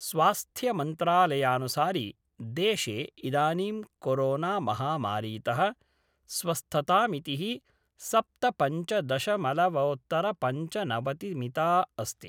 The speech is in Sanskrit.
स्वास्थ्यमंत्रालयानुसारि, देशे इदानीं कोरोनामहामारीत: स्वस्थतामिति: सप्तपंचदशमलवोत्तरपंचनवतिमिता अस्ति।